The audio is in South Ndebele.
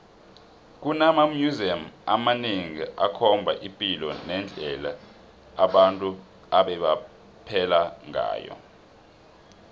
kunama museum amanengi akhomba ipilo nendle abantu ebebaphela ngayo